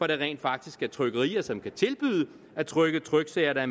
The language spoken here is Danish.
der rent faktisk er trykkerier som kan tilbyde at trykke tryksager der